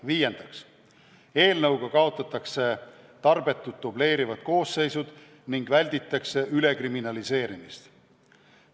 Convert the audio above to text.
Viiendaks, eelnõuga kaotatakse tarbetud dubleerivad koosseisud ning välditakse ülekriminaliseerimist.